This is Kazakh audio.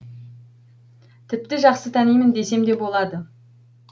тіпті жақсы танимын десем де болады